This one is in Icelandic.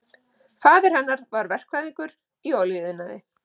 Faðir hennar er verkfræðingur í olíuiðnaði